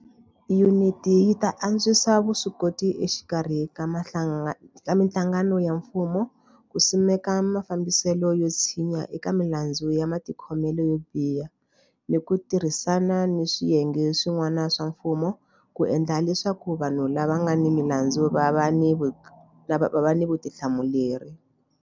Yuniti yi ta antswisa vuswikoti exikarhi ka mihlangano ya mfumo ku simeka mafambiselo yo tshinya eka milandzu ya matikhomelo yo biha ni ku tirhisana ni swiyenge swi n'wana swa mfumo ku endla leswaku vanhu lava nga ni milandzu va va ni vutihlamuleri.